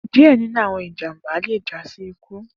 Diẹ ninu awọn ijamba le ja si iku.